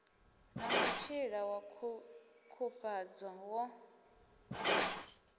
na mutshila wa ṱhukhufhadzo wo